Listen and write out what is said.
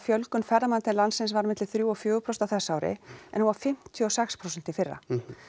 fjölgun ferðamanna til landsins var á milli þrjú og fjögur prósent á þessu ári en hún var fimmtíu og sex prósent í fyrra